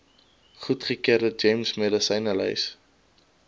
goedgekeurde gems medisynelys